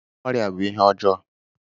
Ọria bú ihe ọjọọ